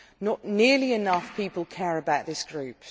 Not nearly enough people care about this group.